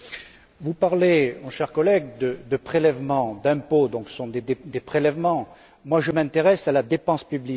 Vous parlez, mon cher collègue, de prélèvements d'impôts, donc ce sont des prélèvements. Moi je m'intéresse à la dépense publique.